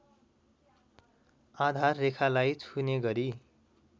आधाररेखालाई छुने गरी